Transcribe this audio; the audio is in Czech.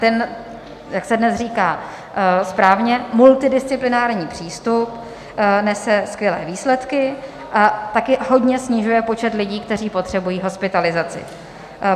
Ten, jak se dnes říká správně, multidisciplinární přístup nese skvělé výsledky a taky hodně snižuje počet lidí, kteří potřebují hospitalizaci.